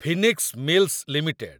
Phoenix Mills limited